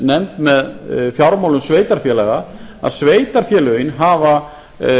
eftirlitsnefnd með fjármálum sveitarfélaga að sveitarfélögin hafa